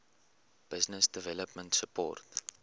business development support